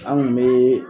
An kun be